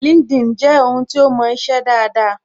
LinkedIn je ohun to mo ise daada